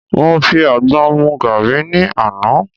Mo fi àgbọn mu gàrí ni àná.